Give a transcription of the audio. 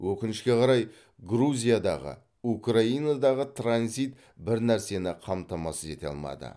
өкінішке қарай грузиядағы украинадағы транзит бір нәрсені қамтамасыз ете алмады